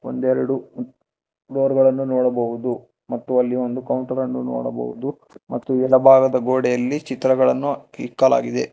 ಒಂದೆರಡು ಚೇರ್ ಗಳನ್ನು ನೋಡಬಹುದು ಮತ್ತು ಅಲ್ಲಿ ಒಂದು ಕೌಂಟರ್ ಅನ್ನು ನೋಡಬಹುದು ಮತ್ತು ಎಡಬಾಗದ ಗೋಡೆಯಲ್ಲಿ ಚಿತ್ರಗಳನ್ನು ಇಕ್ಕಲಾಗಿದೆ.